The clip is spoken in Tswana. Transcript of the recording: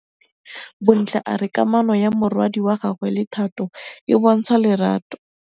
Bontle a re kamanô ya morwadi wa gagwe le Thato e bontsha lerato.